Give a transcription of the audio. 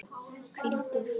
Hvíldu í friði, vinur.